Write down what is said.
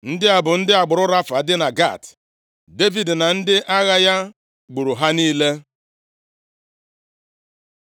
Ndị a bụ ndị agbụrụ Rafa dị na Gat. Devid na ndị agha ya gburu ha niile.